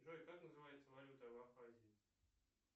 джой как называется валюта в абхазии